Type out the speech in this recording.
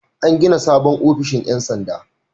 An gina sabon ofishin 'yan sanda.